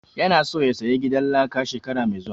Ya na so ya saya gidan laka shekara mai zuwa